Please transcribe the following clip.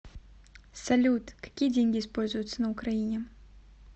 салют какие деньги используются на украине